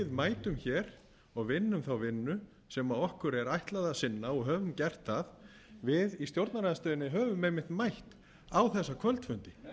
mætum hér og vinnum þá vinnu sem okkur er ætlað að sinna og höfum gert það við í stjórnarandstöðunni höfum einmitt mætt á þessum kvöldfundi